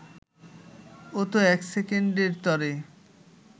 ও তো এক সেকেন্ডের তরে